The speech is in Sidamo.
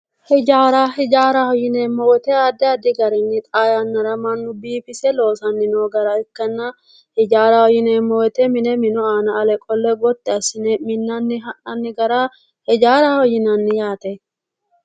Hijaara, hijaaraho yineemmo woyte mannu addi garinni mannu xaa yannara biifise loosanni noo gara ikkanna hijaara yineemmo woyte mine Minu aana Gotti assine minnanni mine hijaaraho yinanni Yaate